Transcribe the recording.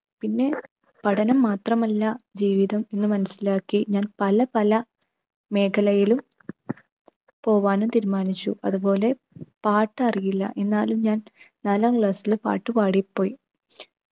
പിന്നെ പഠനം മാത്രമല്ല ജീവിതം എന്ന് മനസിലാക്കി ഞാൻ പല പല മേഖലയിലും പോവാനും തീരുമാനിച്ചു. അതുപോലെ പാട്ടറിയില്ല. എന്നാലും ഞാൻ നാലാം class ൽ പാട്ട് പാടിപ്പോയി.